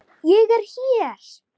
Ég er hér!